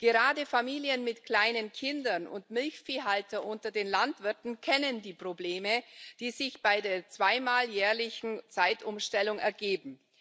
Gerade Familien mit kleinen Kindern und Milchviehhalter unter den Landwirten kennen die Probleme, die sich bei der zweimal jährlichen Zeitumstellung ergeben.